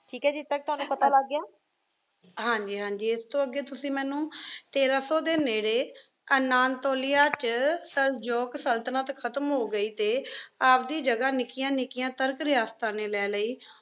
ਠੀਕ ਹੈ ਜਿਥਯ ਤਕ ਤ੍ਵਾਨੁ ਪਤਾ ਲਾਗ ਗਯਾ ਹਾਂਜੀ ਹਾਂਜੀ ਤੁਸੀਂ ਮੇਨੂ ਤੀਰ ਸੋ ਦੇ ਨੀਰੀ ਅਨਾਤੋਲਿਆ ਵਿਚ ਸਲ੍ਜੂਕ ਸਲ੍ਤਨਤ ਖਤਮ ਹੋ ਗਏ ਟੀ ਆਪਦੀ ਜਗਾ ਨਿਕਿਯਾਂ ਨਿਕ੍ਯਾਂ ਤੁਰਕ ਰਿਯਾਸ੍ਤਾਨ ਨੀ ਲੈ ਲਾਏ